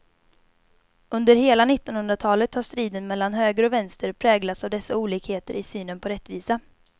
Under hela nittonhundratalet har striden mellan höger och vänster präglats av dessa olikheter i synen på rättvisa.